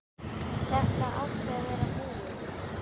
Þetta átti að vera búið.